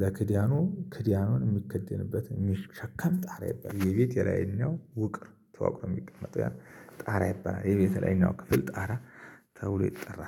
ከክዳኑ ክዳኑ የሚከደንበት የሚሸከም ጣራ ይባለል። የቤቴ ላይኛው ውቅር ተዋቅሮ የሚቀመጥ ጣራ ይባለል። የቤቴ ላይኛው ክፍል ጣራ ተብሎ ይጠራል።